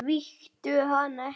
Svíktu hana ekki.